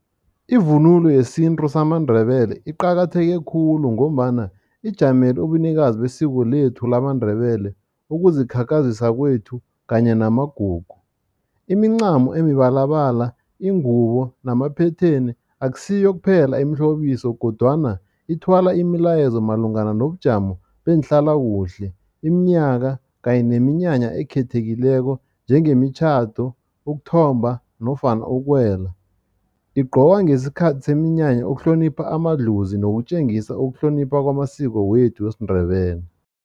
Ivunulo yesintu samaNdebele iqakatheke khulu ngombana ijamele ubunikazi besiko lethu lamaNdebele, ukuzikhakhazisa kwethu kanye namagugu. Imincamo emibalabala, ingubo namaphetheni akusiyo kuphela imihlobiso kodwana ithwala imilayezo malungana nobujamo beenhlalakuhle, iminyaka kanye neminyanya ekhethekileko njengemimtjhado, ukuthomba nofana ukuwela. Igqokwa ngesikhathi seminya ukuhlonipha amadlozi nokutjengisa ukuhlonipha kwamasiko wethu wesiNdebele.